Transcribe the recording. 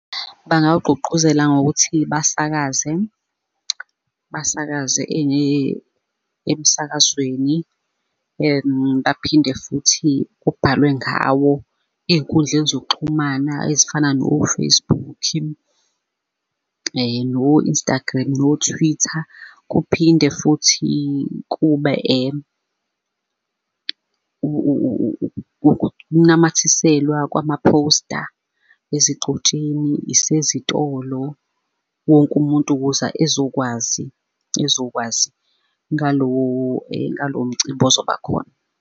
Bangawugqugquzela ngokuthi basakaze, basakaze emsakazweni. Baphinde futhi kubhalwe ngawo ey'nkundleni zokuxhumana ezifana no-Facebook-i, no-Instagram no-Twitter. Kuphinde futhi kube ukunamathiselwa kwama-poster ezigxotsheni zezitolo, wonke umuntu ukuze ezokwazi, ezokwazi ngalowo ngalo mcimbi ozoba khona.